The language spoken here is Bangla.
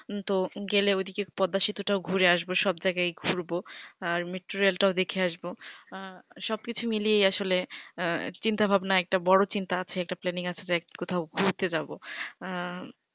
তো গেলে ওদিকে পদ্দাসেতু টাও ঘুরে আসবো সব জায়গায় ঘুরবো আর metrorel টাও দেখে আসবো সব কিছু মিলিয়েই আসলে চিন্তা ভাবনা একটা বড়ো চিন্তা আছে একটা planning আছে যে কোথাও ঘুরতে যাবো আঃ